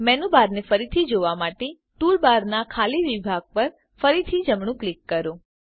menu બારને ફરીથી જોવા માટે ટૂલબારનાં ખાલી વિભાગ પર ફરીથી જમણું ક્લિક કરો